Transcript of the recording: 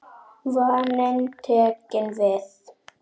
Vaninn tekinn við.